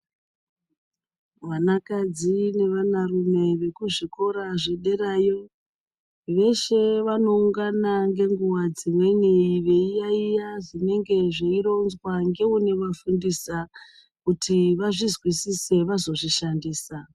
Vanakadzi nevanarume vekuzvikora zvederayo veshe vanoungana ngenguwa dzimweni veiyayiya zvinenge zveironzwa ngeunovafundisa kuti vazvizwisise vazozvishandisa.